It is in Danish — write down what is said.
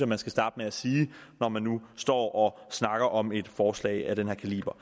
man skal starte med at sige når man nu står og snakker om et forslag af den her kaliber